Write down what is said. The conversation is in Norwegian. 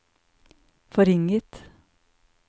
forringet